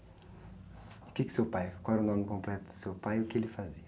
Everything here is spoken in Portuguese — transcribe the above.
O quê que seu pai, qual era o nome completo do seu pai e o que ele fazia?